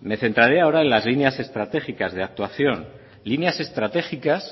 me centraré ahora en las líneas estratégicas de actuación líneas estratégicas